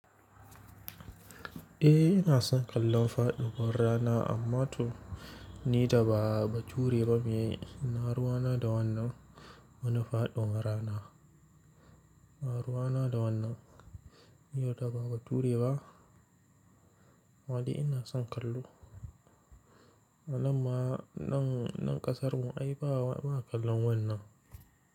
Eh ina son kallon faɗiwar rana amma toh ni da ba bature ba miye, ina ruwa na da wannan wani faɗiwar rana. Ba ruwa na da wannan, ni wanda ba a bature ba amma dai ina son kallo. Nan ma, nan, nan kasar mu ai ba, ba kallon wannan.